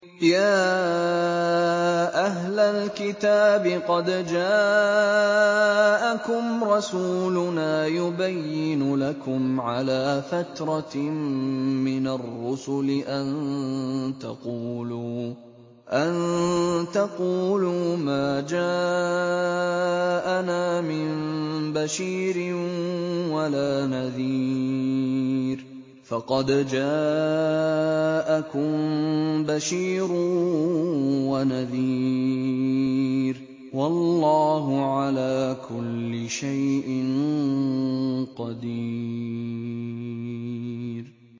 يَا أَهْلَ الْكِتَابِ قَدْ جَاءَكُمْ رَسُولُنَا يُبَيِّنُ لَكُمْ عَلَىٰ فَتْرَةٍ مِّنَ الرُّسُلِ أَن تَقُولُوا مَا جَاءَنَا مِن بَشِيرٍ وَلَا نَذِيرٍ ۖ فَقَدْ جَاءَكُم بَشِيرٌ وَنَذِيرٌ ۗ وَاللَّهُ عَلَىٰ كُلِّ شَيْءٍ قَدِيرٌ